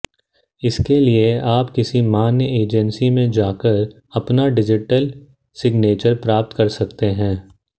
इसके लिए आप किसी मान्य एजेंसी में जाकर अपना डिजिटल सिग्नेचर प्राप्त कर सकते हैं